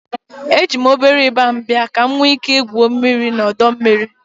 Eji m obere iba bịa ka m nwee ike igwu mmiri na ọdọ mmiri.